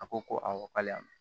A ko ko awɔ k'ale y'a mɛn